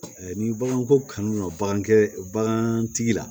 Ni baganko kanu dɔ la